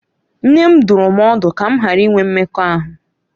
Nne m dụrụ m ọdụ ka m ghara inwe mmekọahụ